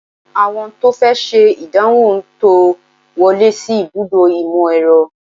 Àwọn tó fẹ́ ṣe ìdánwò ń tò wọlé sí ibùdó ìmọ̀-ẹ̀rọ